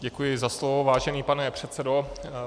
Děkuji za slovo, vážený pane předsedo.